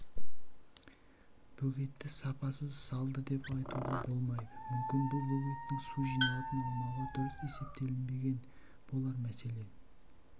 бөгетті сапасыз салды деп айтуға болмайды мүмкін бұл бөгеттің су жиналатын аумағы дұрыс есептелінбеген болар мәселен